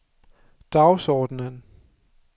dagsordenen